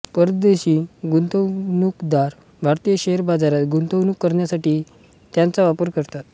परदेशी गुंतवणूकदार भारतीय शेअर बाजारात गुंतवणूक करण्यासाठी त्याचा वापर करतात